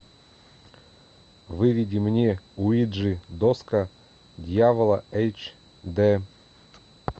выведи мне уиджи доска дьявола эйч д